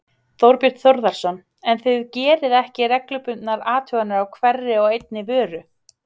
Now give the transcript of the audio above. Þorbjörn Þórðarson: En þið gerið ekki reglubundnar athuganir á hverri og einni vöru?